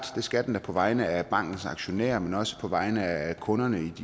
det skal den da på vegne af bankens aktionærer men også på vegne af kunderne